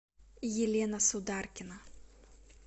елена сударкина